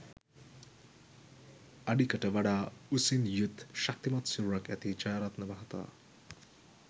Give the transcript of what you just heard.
අඩිකට වඩා උසින් යුත් ශක්‌තිමත් සිරුරක්‌ ඇති ජයරත්න මහතා